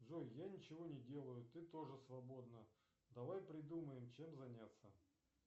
джой я ничего не делаю ты тоже свободна давай придумаем чем заняться